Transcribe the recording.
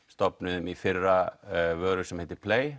stofnuðum í fyrra vöru sem heitir